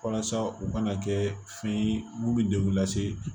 Walasa u kana kɛ fɛn ye mun bɛ degun lase